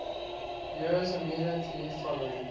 years immediately following